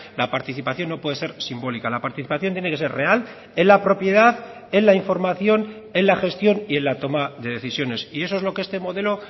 la participación no puede ser simbólica la participación tiene que ser real en la propiedad en la información en la gestión y en la toma de decisiones y eso es lo que este modelo